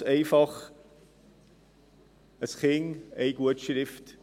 ganz einfach: ein Kind, eine Gutschrift.